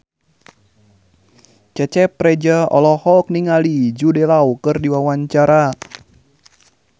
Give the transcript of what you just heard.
Cecep Reza olohok ningali Jude Law keur diwawancara